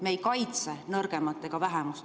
Me ei kaitse nõrgemat ega vähemust.